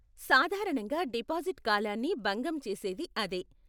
సాధారణంగా డిపాజిట్ కాలాన్ని భంగం చేసేది అదే.